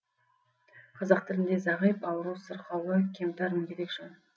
қазақ тілінде зағип ауру сырқаулы кемтар мүгедек жан